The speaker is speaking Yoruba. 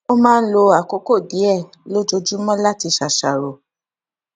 ó máa ń lo àkókò díè lójoojúmó láti ṣàṣàrò